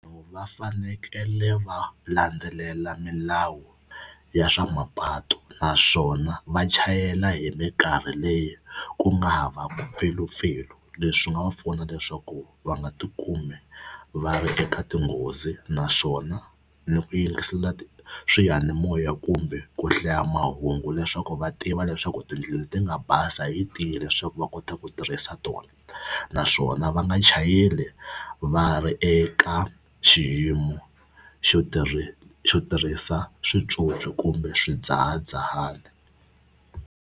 Va fanekele va landzelela milawu ya swa mapatu naswona va chayela hi mikarhi leyi ku nga havaku mpfilumpfilu. Leswi nga va pfuna leswaku va nga tikumi va ri eka tinghozi naswona ni ku yingisela swiyanimoya kumbe ku hlaya mahungu leswaku va tiva leswaku tindlela ti nga basa yi tihi leswaku va kota ku tirhisa tona naswona va nga chayeli va ri eka xiyimo xo xo tirhisa switswotswi kumbe swidzahadzahani.